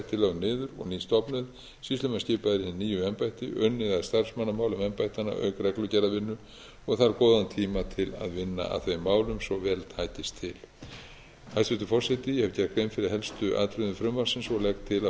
lögð niður og ný stofnuð sýslumenn skipaðir í hin nýju embætti unnið að starfsmannamálum embættanna auk reglugerðarvinnu og þarf góðan tíma til að vinna að þeim málum svo vel takist til hæstvirtur forseti ég hef gert grein fyrir helstu atriðum frumvarpsins og legg til